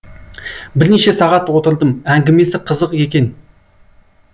бірнеше сағат отырдым әңгімесі қызық екен